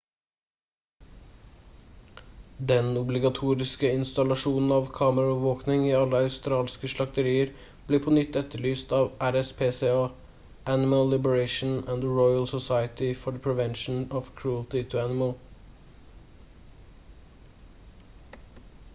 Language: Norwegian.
den obligatoriske installasjonen av kameraovervåkning i alle australske slakterier blir på nytt etterlyst av rspca animal liberation and the royal society for the prevention of cruelty to animals